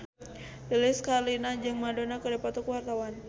Lilis Karlina jeung Madonna keur dipoto ku wartawan